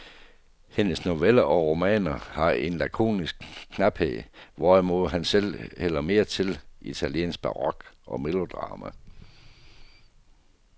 Hendes noveller og romaner har en lakonisk knaphed, hvorimod han selv hælder mere til italiensk barok og melodrama.